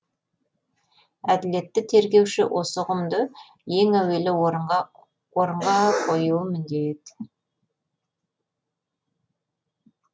әділетті тергеуші осы ұғымды ең әуелі орынға орынға қоюы міндет